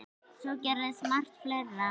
Svo gerist margt fleira.